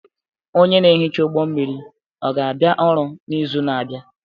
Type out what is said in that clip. Onye na-ehicha ụgbọ mmiri ọ ga-abịa ọrụ n'izu na-abịa?